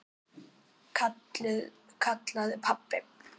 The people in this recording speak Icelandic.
kallaði pabbi.